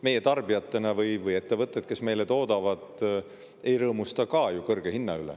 Meie tarbijatena või ettevõtted, kes meile toodavad, ka ei rõõmusta ju kõrge hinna üle.